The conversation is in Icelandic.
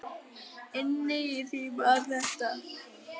Inni í því var þetta.